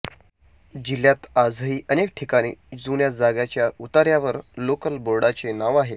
जिल्ह्यात आजही अनेक ठिकाणी जुन्या जागाच्या उतार्यावर लोकल बोर्डाचे नाव आहे